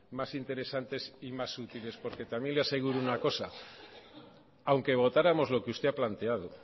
más interesantes y más útiles porque también le aseguro una cosa aunque votáramos lo que usted ha planteado